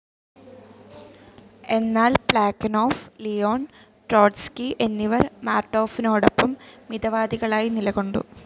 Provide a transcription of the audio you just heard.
എന്നാൽ Plekhanov, Leon Trotsky എന്നിവർ മാർട്ടോഫിനോടൊപ്പം മിതവാദികളായി നിലകൊണ്ടു.